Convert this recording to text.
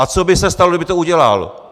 A co by se stalo, kdyby to udělal?